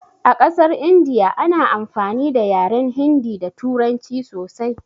A ƙasar India ana amfani da yaren hindi da turanci sosai